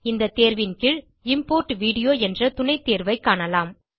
இந்த தேர்வின் கீழ் இம்போர்ட் வீடியோ என்ற துணைத்தேர்வைக் காணலாம்